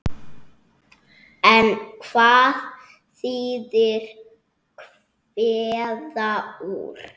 En hvað þýðir kveða úr?